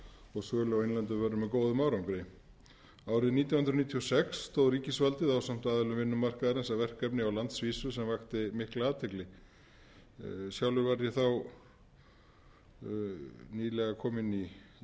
og sölu á innlendum vörum með góðum árangri árið nítján hundruð níutíu og sex stóð ríkisvaldið ásamt aðilum vinnumarkaðarins að verkefni á landsvísu sem vakti mikla athygli sjálfur var ég nýlega kominn í